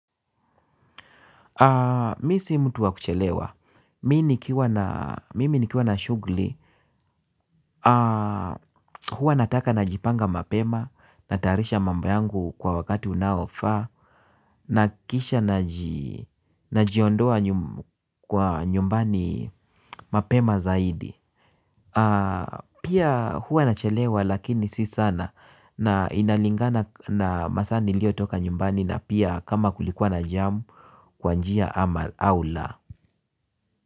Mi si mtu wa kuchelewa, mimi nikiwa na shughuli, huwa nataka najipanga mapema, natayarisha mambo yangu kwa wakati unaofaa, na kisha najiondoa nyumbani mapema zaidi. Pia huwa nachelewa lakini si sana na inalingana na masaa niliyotoka nyumbani na pia kama kulikuwa na jam kwa njia ama au la.